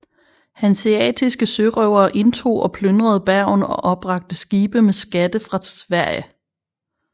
Hanseatiske sørøvere indtog og plyndrede Bergen og opbragte skibe med skatter fra Sverige